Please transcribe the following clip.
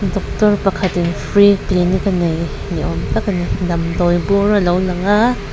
doctor pakhatin free clinic a nei ni awm tak a ni damdawi bur a lo lang a.